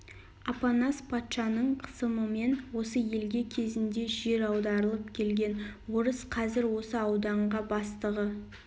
апанас патшаның қысымымен осы елге кезінде жер аударылып келген орыс қазір осы ауданға бастығы